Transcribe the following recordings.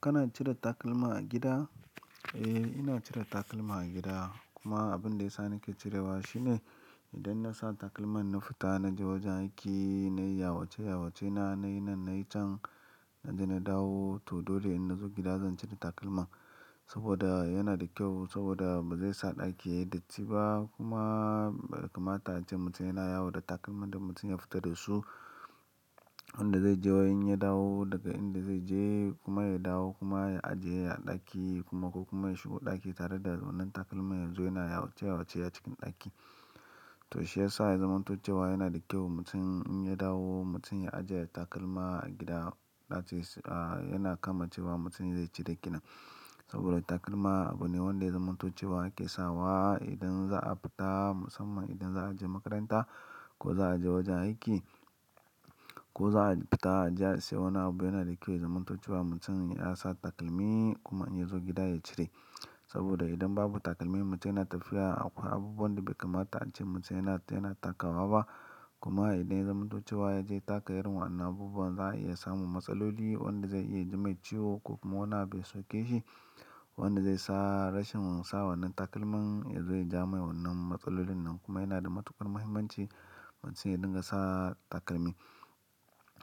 Kana cire takalma a gida? Eh, ina cire takalma a gida. Kuma abin da yasa nake cirewa shine idan na sa takalman na fita, na je wajen aiki, na yi yawace yawacena, na yi nan, na yi can, na je na dawo. To dole in na zo gida zan cire takalma saboda yana da kyau saboda ba zai sa ɗaki ya yi datti ba kuma, be kamata ace mutum yana yawo da takalman da mutum ya fita da su. Wanda zai je wai in ya dawo daga inda zai je kuma ya dawo kuma ya ajiye a ɗaki kuma ko kuma ya shigo ɗaki tare da wannan takalman yazo yana yawace yawace a cikin ɗaki. To shi yasa ya zamanto cewa yana da kyau mutum in ya dawo mutum ya ajiye takalma a gida. That is yana kama cewa mutum zai cire kenan saboda takalma abu ne wanda ya zamanto cewa ake sawa idan za a fita musamman idan za a je makaranta ko za a je wajen aiki ko za a fita aje a siyo. Wani abu yana da kyau ya zamanto cewa mutum ya sa takalmi kuma in ya zo gida ya cire saboda idan babu takalmi mutum yana tafiya akwai abubuwan da bai kamata ace mutum yana, yana takawa ba. Kuma idan ya zamanto cewa ya je ya taka irin wa'yannan abubuwan za a iya samun matsaloli wanda zai iya ji mai ciwo ko kuma wani abu ya soke shi. Wanda zai sa rashin sa wannan takalman yazo yaja mai wannan matsalolin nan kuma yana da matukar muhimmanci mutum ya dinga sa takalmi.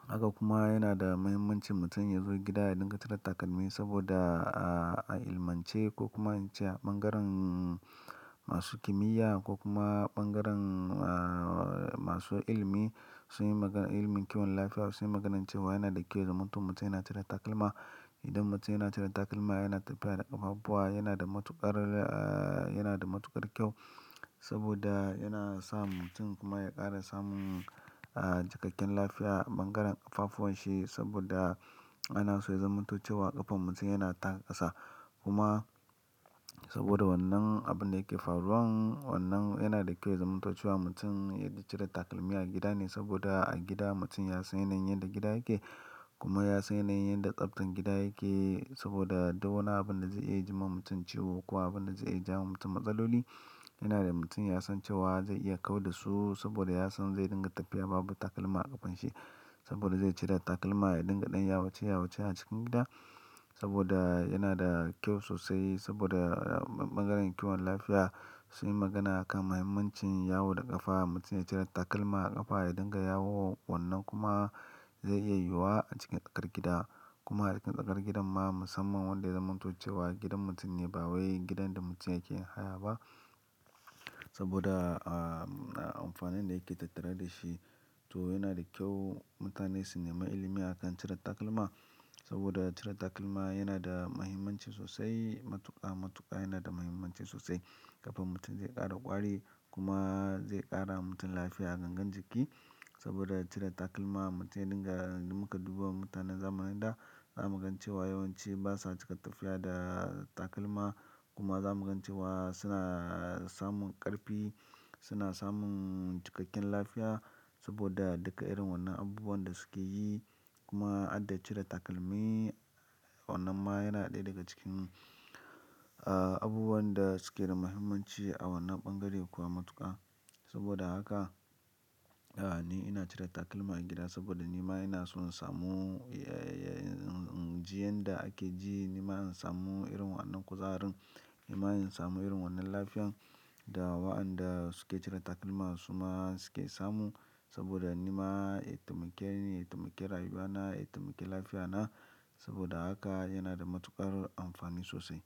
Haka kuma yana da muhimmanci mutum ya zo gida ya dinga cire takalmi saboda, a ilmance ko kuma an ce a ɓangaren masu kimiyya ko kuma ɓangaren, masu ilmi. Sun yi magana, ilimin kiwon lafiya sun yi maganar cewa yana da kyau ya zamanto mutum yana cire takalma. Idan mutum yana cire takalma yana tafiya da ƙafafuwa yana da matuƙar, yana da matuƙar kyau saboda yana sa mutum kuma ya ƙara samun, cikakken lafiya ɓangaren ƙafafuwan shi saboda ana so ya zamanto cewa ƙafan mutum yana taka ƙasa. Kuma saboda wannan abun da yake faruwan wannan yana da kyau ya zamanto cewa mutum ya cire takalmi a gida ne saboda a gida mutum ya san yanayin yanda gida yake kuma ya san yanayin yadda tsaftar gida yake saboda duk wani abin da zai iya ji ma mutum ciwo ko abin da zai iya jawowa mutum matsaloli yana da mutum ya san cewa zai iya kau da su saboda ya san zai dinga tafiya babu takalma a ƙafan shi saboda zai cire takalma ya dinga ɗan yawace yawace a cikin gida saboda yana da kyau sosai saboda ɓangaren kiwon lafiya sun yi magana kan muhimmancin yawo da ƙafa. Mutum ya cire takalma a ƙafa ya dinga yawo wannan kuma zai iya yiwuwa a cikin tsakar gida kuma a cikin tsakar gidan ma musamman wanda ya zamanto cewa gidan mutum ne ba wai gidan da mutum yake haya ba saboda, amfanin da yake tattare da shi. To yana da kyau mutane su nemi ilimi akan cire takalma saboda cire takalma yana da muhimmanci sosai. Matuƙa, matuƙa yana da muhimmanci sosai ƙafan mutum zai ƙara ƙwari kuma zai ƙara mutum lafiya gangan jiki saboda cire takalma mutum ya dinga, in muka duba mutanen zamanin da za mu gan cewa yawanci ba sa cika tafiya da takalma kuma za mu gan cewa suna samun ƙarfi, suna samun cikakken lafiya saboda duka irin wannan abubuwan da suke yi kuma harda cire takalmi wannan ma yana ɗaya daga cikin, abubuwan da suke da muhimmanci a wannan ɓangare kuwa matuƙa. Saboda haka, ni ina cire takalma a gida saboda ni ma ina so in samu, inji yadda ake ji ni ma in samu irin wa'yannan kuzarin. Ni ma in samu irin wannan lafiyan da wa'yanda suke cire takalma su ma suke samu saboda ni ma ya taimake ni, ya taimake rayuwa na, ya taimake lafiya na saboda haka yana da matuƙar amfani sosai.